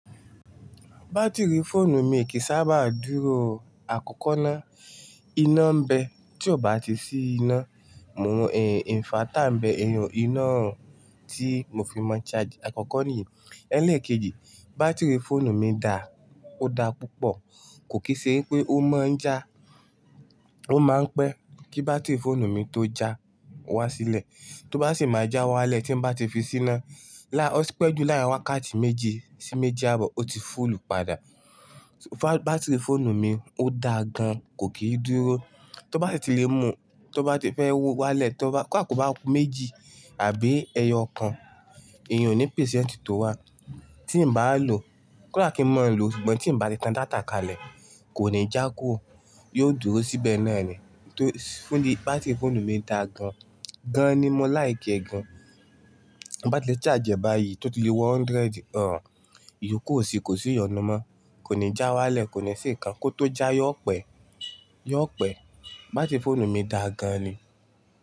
Batiri fóònù mi kì í sábà dúró àkọ́kọ́ ná. Iná ń bẹ tí ò bá ti sí iná. Mo mọ ẹ̀n, ẹ̀ẹ̀, inverter ń bẹ ìyun iná tí mo fi mọ charge àkọ́kọ́ nìyẹn. Ẹlẹ́ẹ̀kejì, batiri fóònù mi da, ó da púpọ̀, kò kì í ṣe pé ó máa ń já, ó máa ń pẹ́ kí batiri fóònù mi tó já wá sílẹ̀. Tí ó bá sì máa já wá lẹ̀ tí ń bá ti fi sí iná, lá, ó pẹ́ jù láàárín wákàtí méjì sí méjì ààbọ̀ ó ti full padà. Batiri fóònù mi, ó da gan, kò kì í dúró. Tí ó bá ti lè mú, tí ó bá ti fẹ́ wọ̀ wá lẹ̀ tí ó bá, kó da kò bá kú méjì àbí ẹyọ kan, èèyun ní percent tó wà. Tí n bá lò, kóda kí n má lò, ṣùgbọ́n tí n bá ti tan data kalẹ̀ kò ní já kúrò, yóò dúró síbẹ̀ náà nìyẹn. Tó, fóònù, batiri fóònù mi da gan, gan ni mọ láì gẹ gan. B'ati le charge e báyìí tó ti lé wo hundred, òun, ìyókù ò sí, kò sí ìyọnu mọ. Kò ní já wá lẹ̀, kò ní se'kan. Kó tó já yóò pẹ́, yóò pẹ́. Batiri fóònù mi da gan ni.